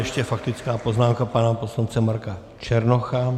Ještě faktická poznámka pana poslance Marka Černocha.